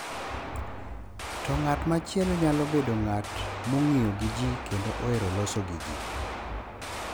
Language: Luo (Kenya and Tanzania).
To ng’at machielo nyalo bedo ng’at ma ng’iyo gi ji kendo ohero loso gi ji.